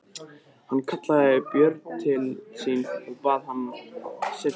Hann kallaði Björn til sín og bað hann setjast.